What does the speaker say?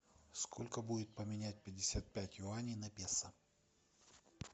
сколько будет поменять пятьдесят пять юаней на песо